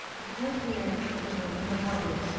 ты можешь мне что-то нормальное скин